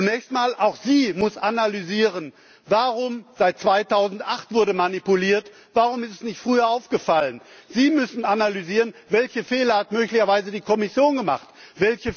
Zunächst einmal Auch sie muss analysieren, warum seit 2008 wurde manipuliert warum es nicht früher aufgefallen ist. Sie müssen analysieren, welche Fehler möglicherweise die Kommission gemacht